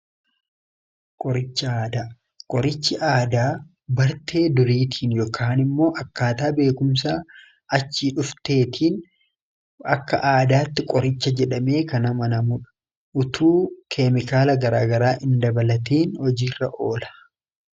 qorichi aadaa qorichi aadaa bartee duriitiin ykn immoo akkaataa beekumsa achii dhuftee tiin akka aadaatti qoricha jedhamee kanamanamuudha utuu keemikaala garaagaraa in dabalatiin hojiirra ola